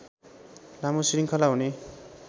लामो शृङ्खला हुने